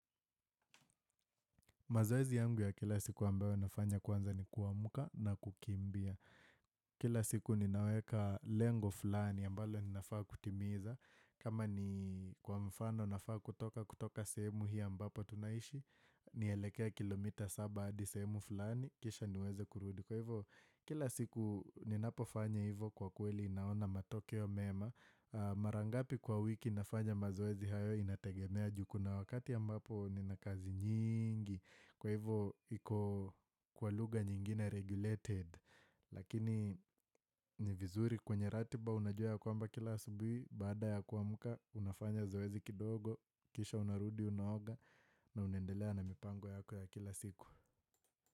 Mazoezi yangu ya kila siku ambayo nafanya kwanza ni kuamka na kukimbia. Kila siku ninaweka lengo fulani ambalo ninafaa kutimiza. Kama ni kwa mfano nafaa kutoka kutoka sehemu hii ambapo tunaishi. Nielekee kilomita saba hadi sehemu fulani. Kisha niweze kurudi. Kwa hivyo. Kila siku ninapofanya hivyo kwa kweli ninaona matokeo mema. Mara ngapi kwa wiki nafanya mazoezi hayo inategemea juu kuna wakati ambapo nina kazi nyingi. Kwa hivo, iko kwa lugha nyingine regulated. Lakini, ni vizuri kwenye ratiba unajua ya kwamba kila asubuhi. Baada ya kuamka, unafanya zoezi kidogo. Kisha unarudi, unaoga. Na unaendelea na mipango yako ya kila siku.